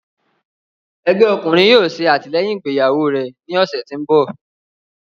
Ẹgbẹ ọkunrin yóò ṣe atilẹyin igbeyawo rẹ ni ọsẹ ti n bọ.